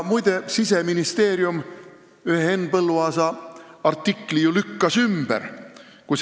Muide, Siseministeerium lükkas ju ümber ühe Henn Põlluaasa artikli väited.